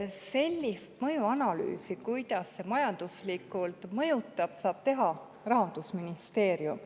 Sellist mõjuanalüüsi, kuidas see meid majanduslikult mõjutab, saab teha Rahandusministeerium.